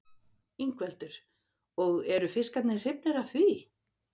Ingveldur: Og eru fiskarnir hrifnir af því?